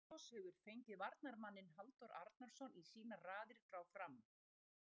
Selfoss hefur fengið varnarmanninn Halldór Arnarsson í sínar raðir frá Fram.